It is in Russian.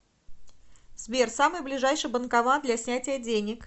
сбер самый ближайший банкомат для снятия денег